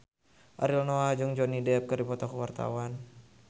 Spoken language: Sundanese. Ariel Noah jeung Johnny Depp keur dipoto ku wartawan